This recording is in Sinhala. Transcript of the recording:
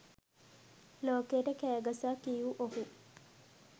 ලෝකයට කෑ ගසා කියූ ඔහු